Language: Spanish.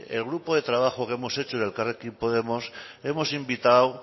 el grupo de trabajo que hemos hecho en elkarrekin podemos hemos invitado